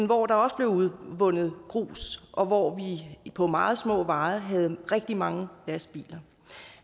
hvor der også blev udvundet grus og hvor vi på meget små veje havde rigtig mange lastbiler